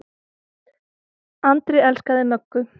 Andri elskaði Möggu.